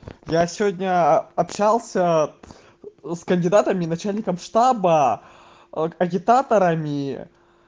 я сегодня общался с кандидатами начальником штаба а агитаторами